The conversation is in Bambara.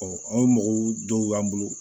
an ka mɔgɔw dɔw y'an bolo